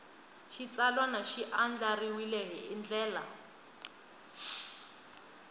xitsalwana xi andlariwile hi ndlela